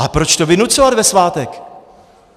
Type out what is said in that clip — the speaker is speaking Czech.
A proč to vynucovat ve svátek?